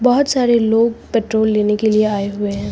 बहुत सारे लोग पेट्रोल लेने के लिए आए हुए है।